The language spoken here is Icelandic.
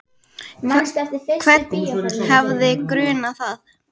Hvern hefði grunað það?